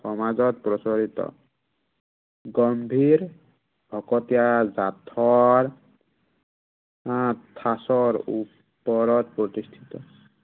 সমাজত প্ৰচলিত গম্ভীৰ, ভকতীয়া জাঠৰ আহ ঠাঁচৰ, ওপৰত প্ৰতিস্থিত